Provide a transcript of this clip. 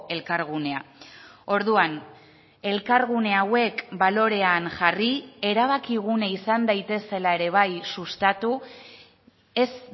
elkargunea orduan elkargune hauek balorean jarri erabakigune izan daitezela ere bai sustatu ez